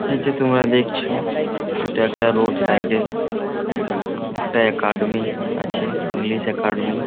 এই যে তোমরা দেখছো এটা একটা রোডসাইড -এ। একটা একাডেমি আছে ইংলিশ একাডেমি ।